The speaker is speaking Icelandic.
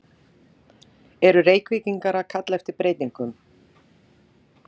Eru Reykvíkingar að kalla eftir breytingum?